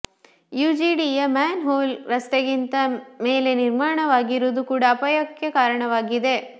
ಯುಜಿಡಿಯ manhole ರಸ್ತೆಗಿಂತ ಮೇಲೆ ನಿರ್ಮಾಣವಾಗಿರುವುದು ಕೂಡ ಅಪಾಯಕ್ಕೆ ಕಾರಣವಾಗಿದೆ